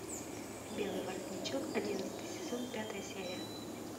белый воротничок одиннадцатый сезон пятая серия